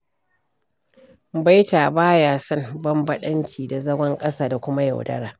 Baita ba ya son bambaɗanci da zagon ƙasa da kuma yaudara.